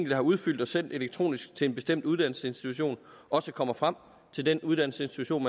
har udfyldt og sendt elektronisk til en bestemt uddannelsesinstitution også kommer frem til den uddannelsesinstitution